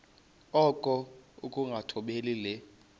okokuba ukungathobeli le